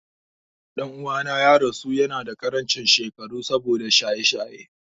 Ɗan'uwana ya rasu yanada ƙarancin shekaru saboda shaye-shaye.